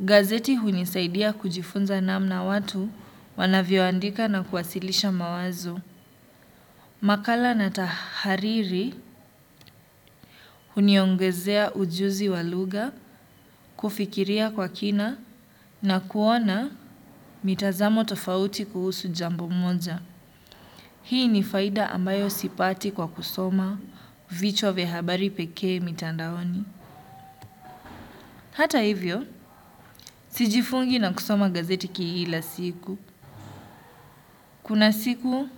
gazeti hunisaidia kujifunza namna watu wanavyoandika na kuwasilisha mawazo. Makala na tahariri huniongezea ujuzi wa lugha kufikiria kwa kina na kuona mitazamo tofauti kuhusu jambo moja. Hii ni faida ambayo sipati kwa kusoma vichwa vya habari pekee mitandaoni. Hata hivyo sijifungi na kusoma gazeti kila siku. Kuna siku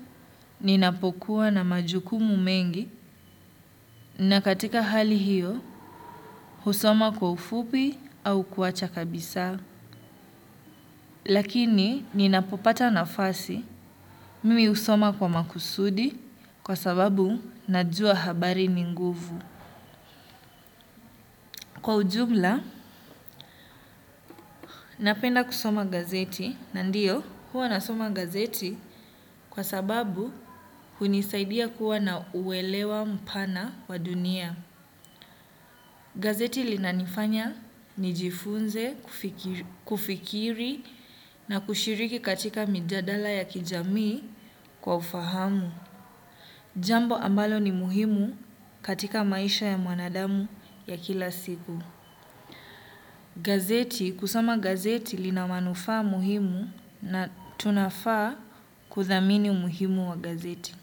ninapokuwa na majukumu mengi na katika hali hiyo husoma kwa ufupi au kuwacha kabisaa. Lakini ninapopata nafasi mimi husoma kwa makusudi kwa sababu najua habari ni nguvu. Kwa ujumla napenda kusoma gazeti na ndio huwa nasoma gazeti kwa sababu hunisaidia kuwa na uelewa mpana wa dunia. Gazeti linanifanya nijifunze kufikiri na kushiriki katika mijadala ya kijamii kwa ufahamu. Jambo ambalo ni muhimu katika maisha ya mwanadamu ya kila siku. Gazeti kusoma gazeti lina manufaa muhimu na tuna faa kudhamini umuhimu wa gazeti.